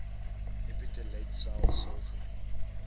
epiteelletsel sil genoem